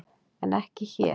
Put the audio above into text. En ekki hér.